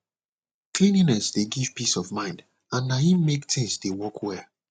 cleanliness dey give peace of mind and na em make thing dey work well